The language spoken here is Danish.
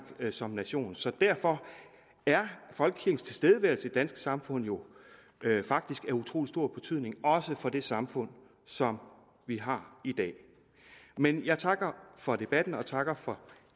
som nation så derfor er folkekirkens tilstedeværelse i det danske samfund jo faktisk af utrolig stor betydning også for det samfund som vi har i dag men jeg takker for debatten og takker for